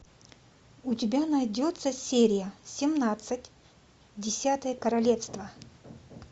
у тебя найдется серия семнадцать десятое королевство